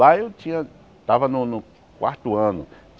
Lá eu tinha... Tava no no quarto ano.